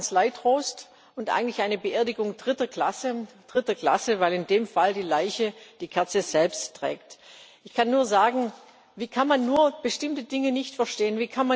Es war Kanzleitrost und eigentlich eine Beerdigung dritter Klasse. Dritter Klasse, weil in dem Fall die Leiche die Kerze selbst trägt. Ich kann nur sagen Wie kann man nur bestimmte Dinge nicht verstehen?